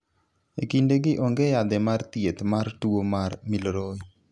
E kindegi, onge yadhe mar thieth mar tuwo mar Milroy.